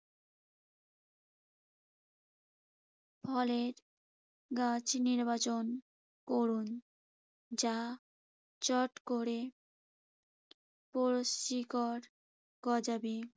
ফলের গাছ নির্বাচন করুন যা চট করে পুরো শিকড় গজাবে।